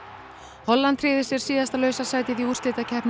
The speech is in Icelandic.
Holland tryggði sér síðasta lausa sætið í úrslitakeppni